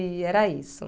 E era isso.